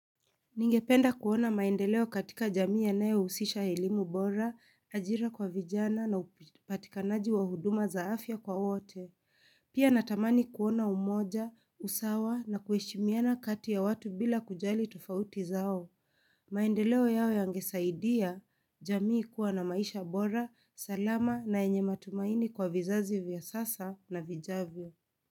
Ningependa kuona maendeleo katika jamii yanayo usisha elimu bora, ajira kwa vijana na upatikanaji wa huduma za afya kwa wote. Pia natamani kuona umoja, usawa na kuheshimiana kati ya watu bila kujali tofauti zao. Maendeleo yao yangesaidia, jamii kuwa na maisha bora, salama na yenye matumaini kwa vizazi vya sasa na vijavyo.